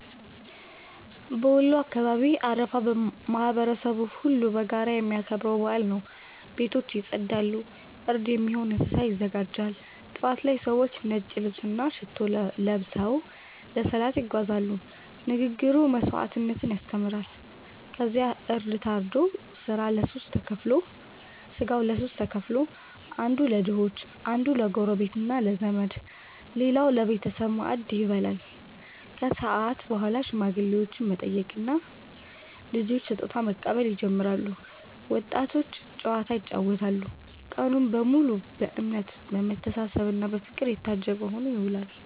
በወሎ አካባቢ አረፋ ማህበረሰቡ ሁሉ በጋራ የሚያከብረው በዓል ነው። ቤቶች ይጸዳሉ፣ እርድ የሚሆን እንስሳ ይዘጋጃል። ጠዋት ላይ ሰዎች ነጭ ልብስና ሽቶ ለብሰው ለሰላት ይጓዛሉ፤ ንግግሩ መስዋዕትነትን ያስተምራል። ከዚያ እርድ ታርዶ ሥጋው ለሦስት ተከፍሎ፦ አንዱ ለድሆች፣ አንዱ ለጎረቤትና ለዘመድ፣ ሌላው ለቤተሰብ ማዕድ ይበላል። ከሰዓት በኋላ ሽማግሌዎችን መጠየቅና ልጆች ስጦታ መቀበል ይጀምራል፤ ወጣቶች ጨዋታ ይጫወታሉ። ቀኑ በሙሉ በእምነት፣ በመተሳሰብና በፍቅር የታጀበ ሆኖ ይውላል።